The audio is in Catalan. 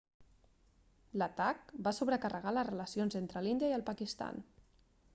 l'atac va sobrecarregar les relacions entre l'índia i el pakistan